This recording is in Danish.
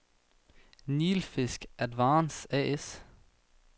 Nilfisk-Advance A/S